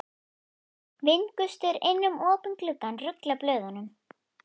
Vindgustur inn um opinn glugganum ruglar blöðunum.